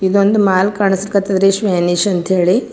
ಇದೊಂದು ಮಾಲ್ ಕಾಣ್ಸ್ ಕತ್ತದ್ ರಿ ಸ್ಮೈನಿಶ್ ಅಂತ ಹೇಳಿ .